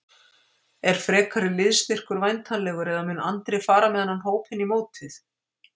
Er frekari liðsstyrkur væntanlegur eða mun Andri fara með þennan hóp inn í mótið?